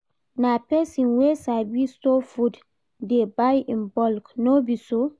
Na pesin wey sabi store food dey buy in bulk, no be so?